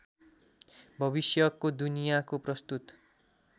भविष्यको दुनियाँको प्रस्तुत